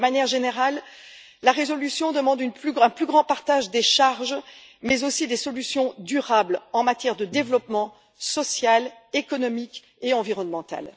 D'une manière générale, la résolution demande un plus grand partage des charges mais aussi des solutions durables en matière de développement social, économique et environnemental.